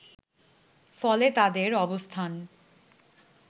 ফলে তাদের অবস্থান